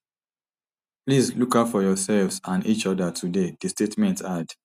please look out for yoursefs and each oda today di statement add